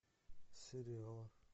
сериалы